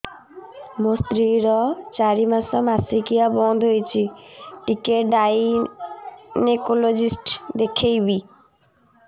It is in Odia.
ମୋ ସ୍ତ୍ରୀ ର ଚାରି ମାସ ମାସିକିଆ ବନ୍ଦ ହେଇଛି ଟିକେ ଗାଇନେକୋଲୋଜିଷ୍ଟ ଦେଖେଇବି